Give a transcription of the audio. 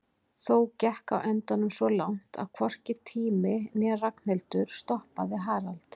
Þó gekk á endanum svo langt að hvorki tími né Ragnhildur stoppaði Harald.